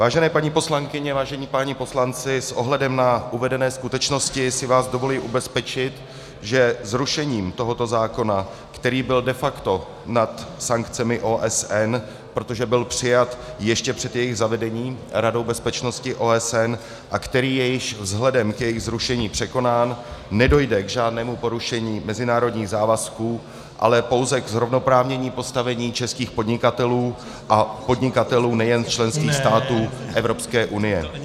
Vážené paní poslankyně, vážení páni poslanci, s ohledem na uvedené skutečnosti si vás dovoluji ubezpečit, že zrušením tohoto zákona, který byl de facto nad sankcemi OSN, protože byl přijat ještě před jejich zavedením Radou bezpečnosti OSN, a který je již vzhledem k jejich zrušení překonán, nedojde k žádnému porušení mezinárodních závazků, ale pouze k zrovnoprávnění postavení českých podnikatelů a podnikatelů nejen členských států Evropské unie.